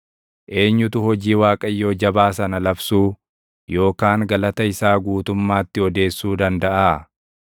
Eenyutu hojii Waaqayyoo jabaa sana labsuu, yookaan galata isaa guutummaatti odeessuu dandaʼaa?